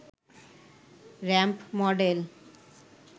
ramp model